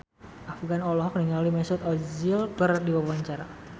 Afgan olohok ningali Mesut Ozil keur diwawancara